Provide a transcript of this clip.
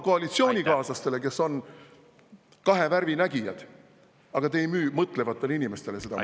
… koalitsioonikaaslastele, kes on kahe värvi nägijad, aga te ei müü mõtlevatele inimestele seda maha.